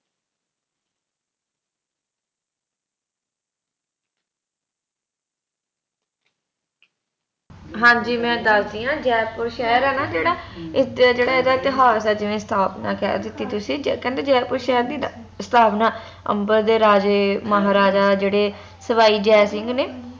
ਹਾਂਜੀ ਮੈਂ ਦੱਸਦੀ ਆ ਜੈਪੁਰ ਸ਼ਹਿਰ ਆ ਨਾ ਜੇਹੜਾ ਇਸ ਦਾ ਜਿਹੜਾ ਇਤਿਹਾਸ ਹੈ ਜਿਵੇ ਸਥਾਪਨਾ ਕਹਿ ਦਿੱਤੀ ਤੁਸੀ ਕੈਂਦੇ ਜੈਪੁਰ ਦੀ ਸਥਾਪਨਾ ਅੰਬਰ ਦੇ ਰਾਜੇ ਮਹਾਰਾਜਾ ਜਿਹੜੇ ਸਵਾਈ ਜੈ ਸਿੰਘ ਨੇ